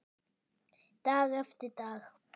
Dag eftir dag.